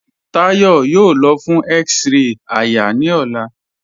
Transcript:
Táyọ̀ yóò lọ̀ fún x-ray àyà ni ọlá.